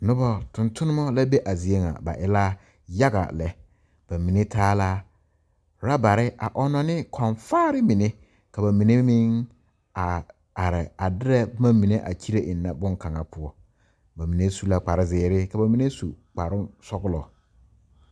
Noba tontonneba la be a zie ŋa ba e la yaga lɛ bamine taa la ɔrabare a ɔnnɔ ne kõɔ faare mine km a ba mine meŋ area are a derɛ boma mine boŋkaŋa poɔ bamine su la kparre zeere ka bamine su kparre sɔglɔ.